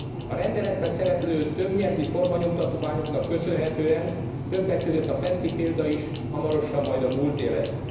A rendeletben szereplő többnyelvű formanyomtatványoknak köszönhetően többek között a fenti példa is hamarosan majd a múlté lesz.